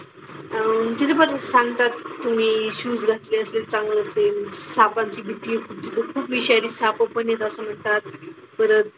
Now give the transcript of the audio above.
अह तिथे परत सांगतात तुम्ही Shoes घातले असतील चांगले होतील. भीती तिथं खूप विषारी सापं पण येतात असं म्हणतात. परत,